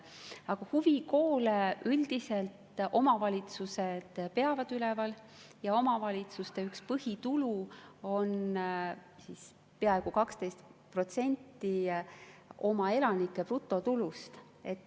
Aga huvikoole üldiselt omavalitsused peavad üleval ja omavalitsuste üks põhitulu on peaaegu 12% oma elanike brutotulust.